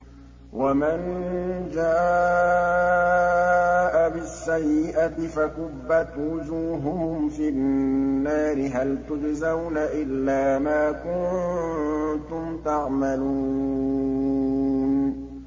وَمَن جَاءَ بِالسَّيِّئَةِ فَكُبَّتْ وُجُوهُهُمْ فِي النَّارِ هَلْ تُجْزَوْنَ إِلَّا مَا كُنتُمْ تَعْمَلُونَ